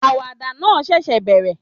Àwàdà náà ṣẹ̀ṣẹ̀ bẹ̀rẹ̀